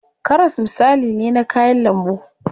Karas misali ne na kayan lambu.